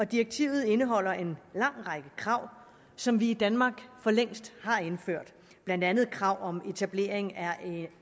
direktivet indeholder en lang række krav som vi i danmark for længst har indført blandt andet krav om etablering